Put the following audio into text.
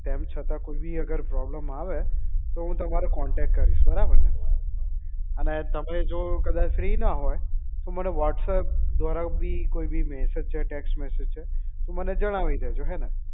તેમ છતાં અગર કોઈ બી problem આવે તો હું તમારો contact કરીશ બરાબર ને અને તમે જો કદાચ free ના હોય તો મને whatsapp દ્વારા બી કોઈ બી message છે text message છે તો મને જણાવી દેજો હને